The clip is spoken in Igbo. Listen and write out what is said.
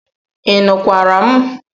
Ị nụkwara m?